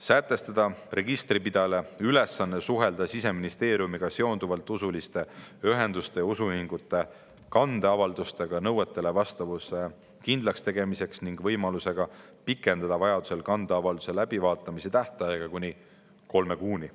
Sätestada registripidajale ülesanne suhelda Siseministeeriumiga seonduvalt usuliste ühenduste ja usuühingute kandeavaldustega nõuetele vastavuse kindlaks tegemiseks ning võimalusega pikendada vajaduse korral kandeavalduse läbivaatamise tähtaega kuni kolme kuuni.